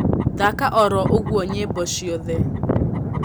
thaka oro uguo nyĩmbo cĩothe